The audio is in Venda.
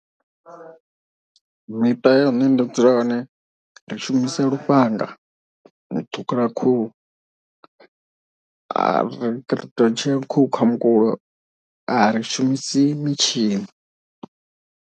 Miṱa ya hune nda dzula hone ri shumisa lufhanga ṱhukhula khuhu ari ri tou tshea khuhu kha mukulo ari shumisi mitshini.